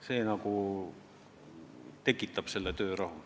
See nagu tekitab töörahu.